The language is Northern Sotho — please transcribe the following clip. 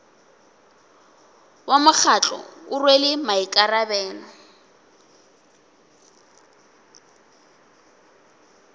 wa mokgatlo o rwele maikarabelo